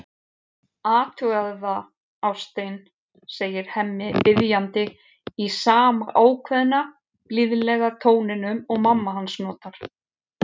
Athugaðu það, ástin, segir Hemmi biðjandi, í sama ákveðna, blíðlega tóninum og mamma hans notar.